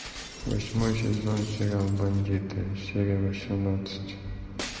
восьмой сезон сериал бандиты серия восемнадцать